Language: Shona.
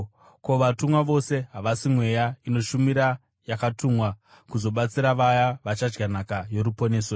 Ko, vatumwa vose havasi mweya inoshumira yakatumwa kuzobatsira vaya vachadya nhaka yoruponeso here?